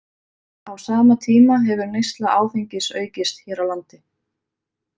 Á sama tíma hefur neysla áfengis aukist hér á landi.